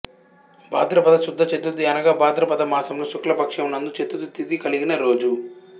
బాధ్రపద శుద్ధ చతుర్థి అనగా బాధ్రపదమాసములో శుక్ల పక్షము నందు చతుర్థి తిథి కలిగిన రోజు